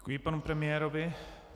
Děkuji panu premiérovi.